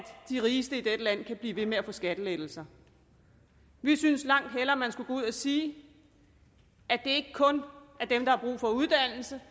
de rigeste i dette land kan blive ved med at få skattelettelser vi synes langt hellere man skulle gå ud og sige at det ikke kun er dem der har brug for uddannelse